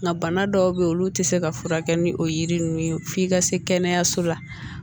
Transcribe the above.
Nka bana dɔw bɛ yen olu tɛ se ka furakɛ ni o yiri ninnu ye f'i ka se kɛnɛyaso la